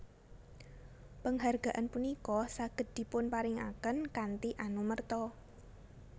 Penghargaan punika saged dipunparingaken kanthi anumerta